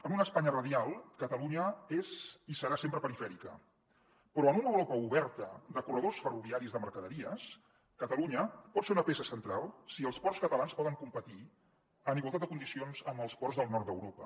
en una espanya radial catalunya és i serà sempre perifèrica però en una europa oberta de corredors ferroviaris de mercaderies catalunya pot ser una peça central si els ports catalans poden competir en igualtat de condicions amb els ports del nord d’europa